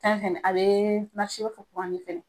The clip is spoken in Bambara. Tan kɔni ale bɛ fɛ.